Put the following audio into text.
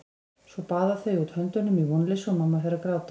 Svo baða þau út höndunum í vonleysi og mamma fer að gráta.